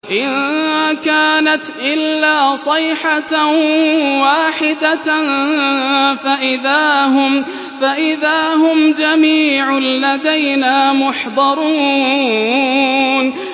إِن كَانَتْ إِلَّا صَيْحَةً وَاحِدَةً فَإِذَا هُمْ جَمِيعٌ لَّدَيْنَا مُحْضَرُونَ